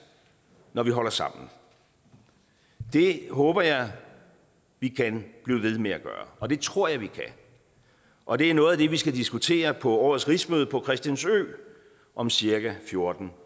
når vi holder sammen det håber jeg vi kan blive ved med at gøre og det tror jeg vi kan og det er noget af det vi skal diskutere på årets rigsmøde på christiansø om cirka fjorten